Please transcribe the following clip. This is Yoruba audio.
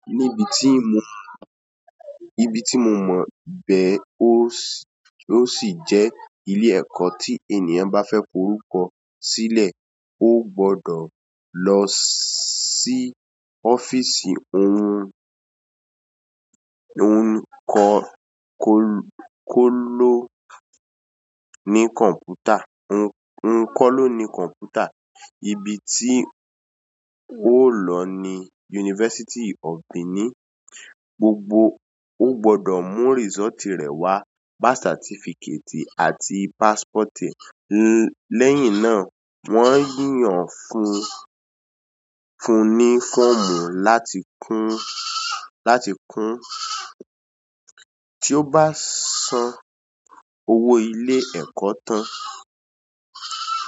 Níbi tí mo, níbi tí mo mọ̀ bẹ́ o s-- ó sì jẹ́ ilé ẹ̀kọ́ tí ènìyàn bá fẹ́ kó orúkọ sílẹ̀, ó gbọ́dọ̀ lọ sí ọ́fíìsì oun ko, ko lo-- ni computer. Oun ko lo ni computer. Ibi tí ó lo ni University of Benin. Gbogbo ó gbọ́dọ̀ mú result rẹ̀ wá, birth certificate àti passport e--. Lẹ́yìn náà, wọ́n yán fún un, fún un ní fọ́ọ̀mù láti kún, láti kún. Tí ó bá san owó ilé ẹ̀kọ́ tán.